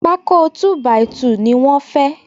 Pákó “2 by 2” ni wọ́n fẹ́